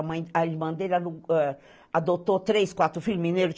A mãe, irmã dele alu, eh, adotou três, quatro filhos mineiro.